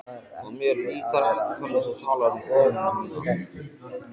Og mér líkar ekki hvernig þú talar um konuna mína